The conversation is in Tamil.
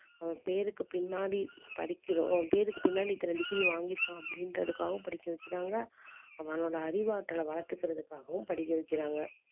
அஹ் பேருக்கு பின்னாடி படிக்கிறோம் பேருக்கு பின்னாடி இத்தனை degree வாங்கி இருக்கான் அப்படின்றதுக்காகவும் படிக்க வைக்கிறாங்க அவனோட அறிவாற்றலை வளர்த்துக்கிறதுக்காகவும் படிக்க வைக்கிறாங்க